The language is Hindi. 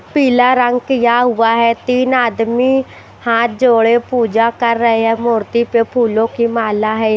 पीला रंग किया हुआ है तीन आदमी हाथ जोड़े पूजा कर रहे है मूर्ति पे फूलों की माला है।